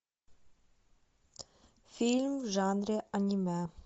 фильм в жанре аниме